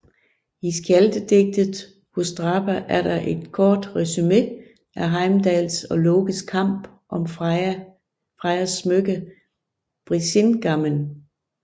I skjaldedigtet Húsdrápa er der et kort resumé af Heimdalls og Lokes kamp om Frejas smykke Brísingamen